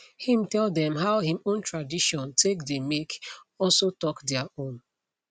him tell them how him own tradition take dey make also talk their own